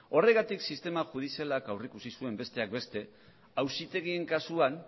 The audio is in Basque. horregatik sistema judizialak aurrikusi zuen besteak beste auzitegien kasuan